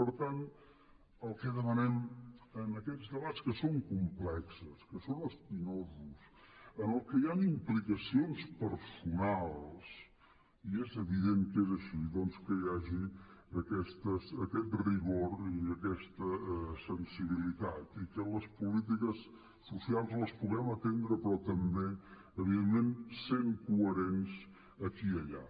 per tant el que demanem en aquests debats que són complexos que són espinosos en què hi han implicacions personals i és evident que és així doncs que hi hagi aquest rigor i aquesta sensibilitat i que les polítiques socials les puguem atendre però també evidentment sent coherents aquí i allà